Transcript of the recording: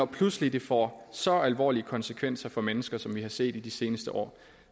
pludselig får så alvorlige konsekvenser for mennesker som vi har set i de seneste år